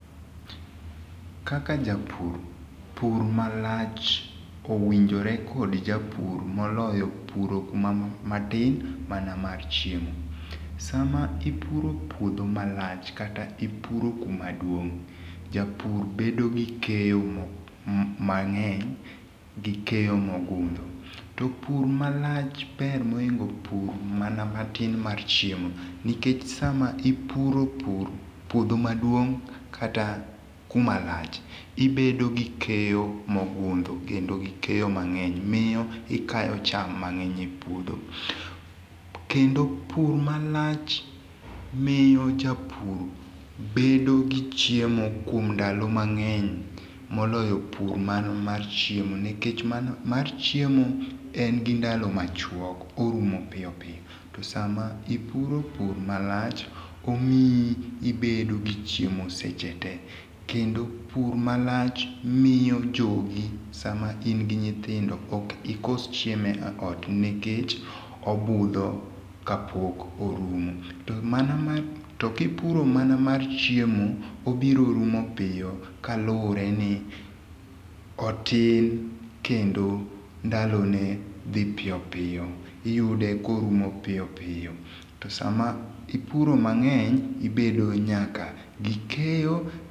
Kaka japur, pur malach owinjore kod japur moloyo puro kuma matin mana mar chiemo. Sama ipuro puodho malach, kata ipuro kumaduong',japur bedo gi keyo m mang'eny gi keyo mogundho. To pur malach ber moingo pur mana matin mar chiemo nikech sama ipuro pur puodho maduong', kata kumalach, ibedo gi keyo mogundho kendo gi keyo mang'eny miyo ikayo cham mang'eny epuodho. Kendo pur malach miyo japur bedo gi chiemo kuom ndalo mang'eny moloyo pur mana mar chiemo nikech pur mar chiemo en gindalo machuok, orumo piyo piyo to sama ipuro pur malach, omiyi ibedo gichiemo seche tee. Kendo pur malach miyo jogi, sama in gi nyithindo ok ikos chiemo eot nikech obudho kapok orumo. To mana kipuro mana mar chiemo obiro rumo piyo kaluwore ni otin kendo ndalone dhi piyo piyo, iyude korumo piyo piyo. To sama ipuro mang'eny ibedo nyaka gi keyo.